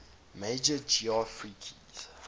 major geoffrey keyes